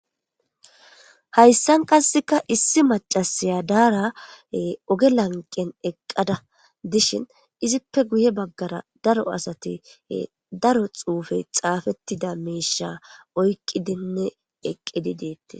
Hayissan qasekka issi macashshiya dara oge laniqenni eqada dishshinni izzippe guye bagara daro asati daro xufeyi xaafettida mishsha oyikkidinne eqqidi detees.